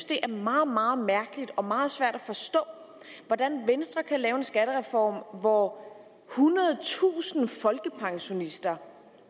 det er meget meget mærkeligt og meget svært at forstå hvordan venstre kan lave en skattereform hvor ethundredetusind folkepensionister